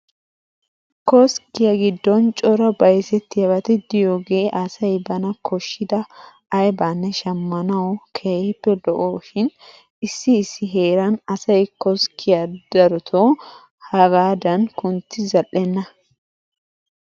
Koskkiya giddon cora bayzettiyabati de'iyogee asay bana koshshida aybaanne shammanawu keehippe lo'oshin issi issi heeran asay koskkiya darotoo hagaadan kunttidi zal"enna.